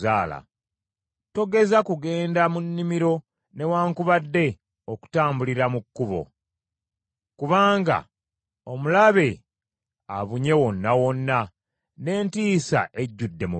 Togeza kugenda mu nnimiro newaakubadde okutambulira mu kkubo; kubanga omulabe abunye wonna wonna n’entiisa ejjudde mu bantu.